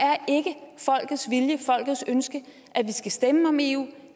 ikke folkets ønske at vi skal stemme om eu